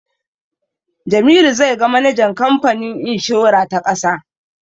Jamilu zai ga manajan kamfanin inshora ta ƙasa.